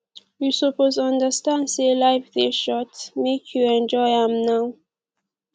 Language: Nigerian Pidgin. you suppose understand sey life dey short make you enjoy am now